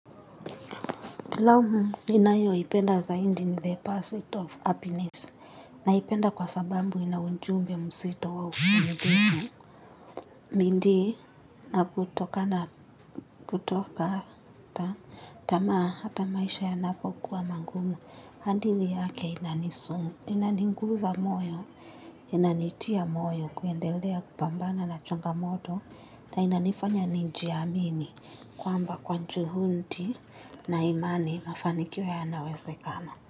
Filamu ninayoipenda zaindi ni the pursuit of happiness naipenda kwa sabambu ina unjumbe msito wa. Bindi na kutokata tamaa hata maisha yanapokuwa magumu. Handithi yake inaninguza moyo, inanitia moyo kuendelea kupambana na chungamoto na inanifanya nijiamini. Kwamba kwa njuhudi na imani mafanikio yanawezekana.